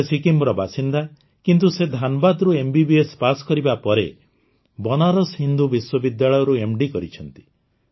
ସେ ସିକ୍କିମର ବାସିନ୍ଦା କିନ୍ତୁ ସେ ଧାନ୍ବାଦରୁ ଏମବିବିଏସ୍ ପାଶ କରିବା ପରେ ବନାରସ ହିନ୍ଦୁ ବିଶ୍ୱବିଦ୍ୟାଳୟରୁ ଏମ୍ଡି କରିଛନ୍ତି